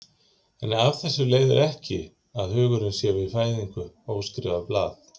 En af þessu leiðir ekki að hugurinn sé við fæðingu óskrifað blað.